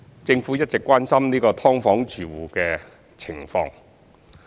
政府一直關心"劏房"住戶的情況。